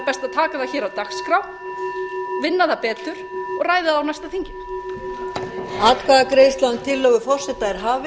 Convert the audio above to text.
taka það hér af dagskrá vinna það betur og ræða það á næsta þingi